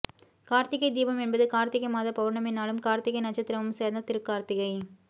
கார்த்திகை தீபம் என்பது கார்த்திகை மாத பௌர்ணமி நாளும் கார்த்திகை நட்சத்திரமும் சேர்ந்த திருக்கார்த்திகை